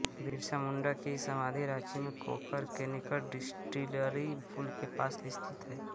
बिरसा मुण्डा की समाधि राँची में कोकर के निकट डिस्टिलरी पुल के पास स्थित है